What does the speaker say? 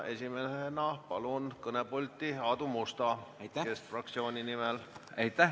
Esimesena palun kõnepulti Aadu Musta keskfraktsiooni nimel kõnelema.